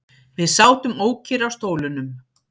Við sátum ókyrr á stólunum.